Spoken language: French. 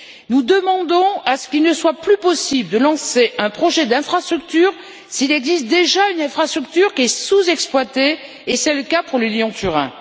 Nous demandons à ce qu'il ne soit plus possible de lancer un projet d'infrastructure s'il existe déjà une infrastructure qui est sous exploitée, et c'est le cas pour le Lyon Turin.